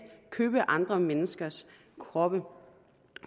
købe andre menneskers kroppe